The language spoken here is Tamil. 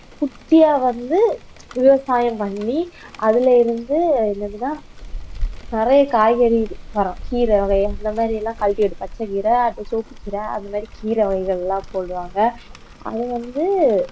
குட்டியா வந்து விவசாயம் பண்ணி அதுல இருந்து என்னதுன்னா நிறைய காய்கறி மரம் கீரை இந்த மாதிரி எல்லாம் கழட்டி விட்டு பச்சை கீரை அடுத்து சோத்துக்குக்கீரை அந்த மாதிரி கீரை வகைகள் எல்லாம் போடுவாங்க அது வந்து